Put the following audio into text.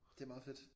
Det meget fedt